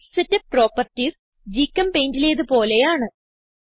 page setup properties GChemPaintലേത് പോലെയാണ്